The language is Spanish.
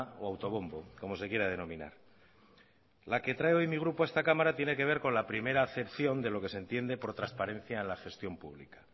o autobombo como se quiera denominar la que trae hoy mi grupo a esta cámara tiene que ver con la primera acepción de lo que se entiende por transparencia en la gestión pública